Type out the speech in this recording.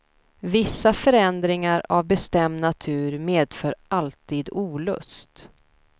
Vissa förändringar av bestämd natur medför alltid olust.